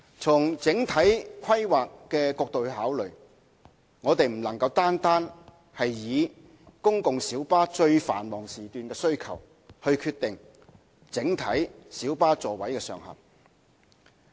從整體規劃角度考慮，我們不能單單以公共小巴在最繁忙時段的需求來決定整體小巴座位上限。